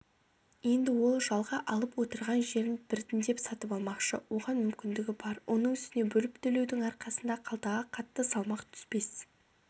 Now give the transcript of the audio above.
енді ол жалға алып отырған жерін біртіндеп сатып алмақшы оған мүмкіндігі бар оның үстіне бөліп төлеудің арқасында қалтаға қатты салмақ түспес